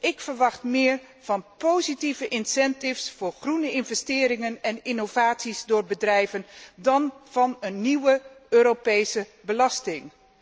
Ik verwacht meer van positieve incentives voor groene investeringen en innovaties door bedrijven dan van een nieuw Europese belasting.